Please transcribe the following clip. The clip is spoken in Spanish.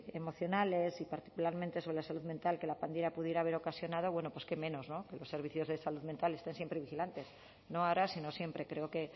emocionales y particularmente sobre la salud mental que la pandemia pudiera haber ocasionado qué menos que los servicios de salud mental estén siempre vigilantes no ahora sino siempre creo que